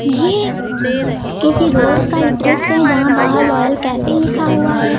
ये किसी रोड का दृश्य है जहां बाहर रॉयल कैफे लिखा हुआ है।